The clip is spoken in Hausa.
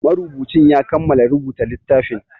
Marubucin ya kamala rubuta littafin